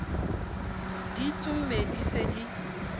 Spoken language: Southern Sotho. di tsomme di se di